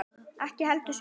Ekki heldur sumar.